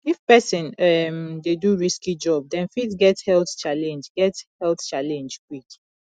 if person um dey do risky job dem fit get health challenge get health challenge quick